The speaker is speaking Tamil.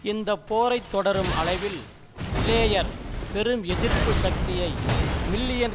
இந்த போரை தொடரும் அளவில் பிளேயர் பெரும் எதிர்ப்பு சக்தியை மில்லியன்